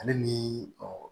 Ale ni